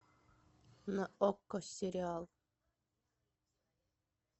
на окко сериал